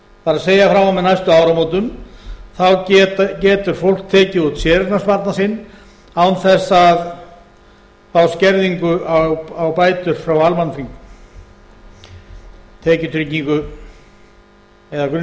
það er frá og með næstu áramótum þá getur fólk tekið út séreignarsparnað sinn án þess að fá skerðingu á bætur frá almannatryggingum tekjutengingu eða